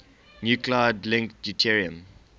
nuclide link deuterium